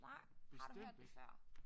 Nej har du hørt det før?